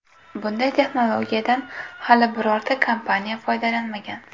Bunday texnologiyadan hali birorta kompaniya foydalanmagan.